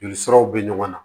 Joli siraw be ɲɔgɔn na